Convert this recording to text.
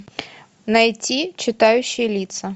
найти читающий лица